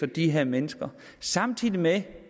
de her mennesker samtidig med at